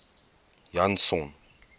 janson